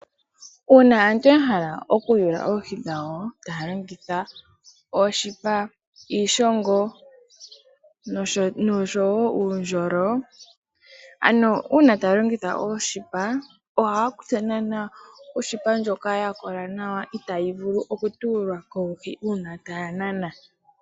Uuna aantu ya hala oku yula oohi dhawo taya longitha ooshipa, iishongo noshowo uundjolo. Ano una taya longitha ooshipa oha kutha naana oshipa ndjoka ya kola itayi vulu oku tuulwa koohi una taya nanaa.